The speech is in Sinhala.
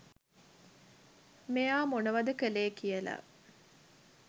මෙයා මොනවද කලේ කියලා.